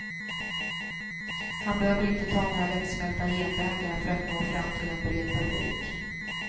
Han behöver inte ta några lättsmälta genvägar för att nå fram till en bred publik.